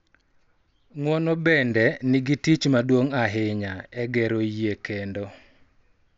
Ng�uono bende nigi tich maduong� ahinya e gero yie kendo,